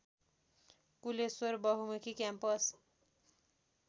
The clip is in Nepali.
गोकुलेश्वर बहुमुखी क्याम्पस